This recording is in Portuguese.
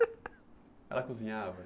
Ela cozinhava?